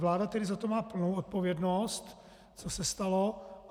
Vláda tedy za to má plnou odpovědnost, co se stalo.